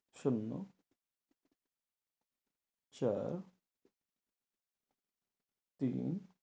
শূন্য চার তিন